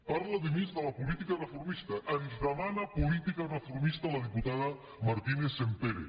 parla a més de la política reformista ens demana política reformista la diputada martínez sampere